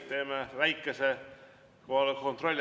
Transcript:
Teeme väikese kohaloleku kontrolli.